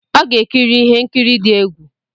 Ọ ga-ekiri ihe nkiri dị egwu.